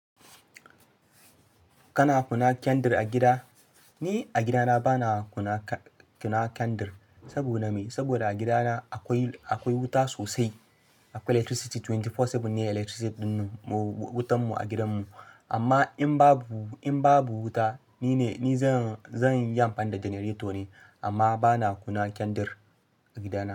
Kana kuna kendir a gida? Ni a gidana bana kuna kendir. Saboda me? Saboda a gidana akwai, akwai wuta sosai. Akwai electricity twenty-four seven ne electricity ɗin mu, wutan mu a gidan mu. Amma in babu, in babu wuta ni ne, ni zan, zan yi amfani da generator ne amma bana kuna kendir a gidana.